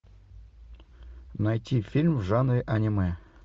найти фильм в жанре аниме